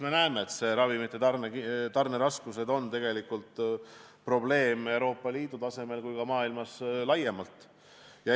Me näeme, et ravimite tarneraskused on probleem nii Euroopa Liidu tasemel kui ka maailmas laiemalt.